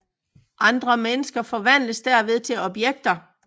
Andre mennesker forvandles derved til objekter